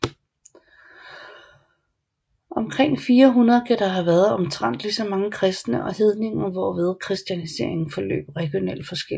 Omkring 400 kan der have været omtrent lige mange kristne og hedninger hvorved kristianiseringen forløb regionalt forskelligt